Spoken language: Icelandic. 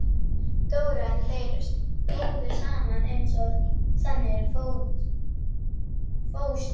Dóra en þeir stóðu saman eins og sannir fóstbræður.